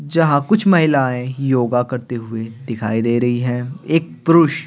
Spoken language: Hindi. जहां कुछ महिलाएं योगा करते हुए दिखाई दे रही हैं एक पुरुष--